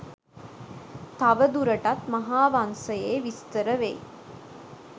තවදුරටත් මහාවංසයේ විස්තර වෙයි.